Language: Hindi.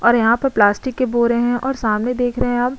और यहाँ पे प्लास्टिक के बोरे है और सामने देख रहे है आप --